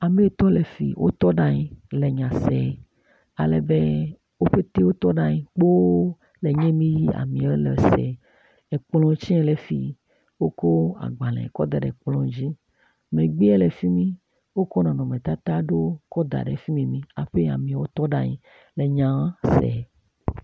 Amewo tɔ ɖe afi. Wotɔ ɖe anyi le nya se ale be wo pɛte wotɔ ɖe kpo le nye mi amewo le se. kplɔ tse le fi yi. Wokɔ agbale kɔ da ɖe klplɔ dzi. Megbea le afi mi wokɔ nɔnɔmetata aɖewo kɔ da ɖe mimi hafi amewo tɔ ɖe anyi le nya se.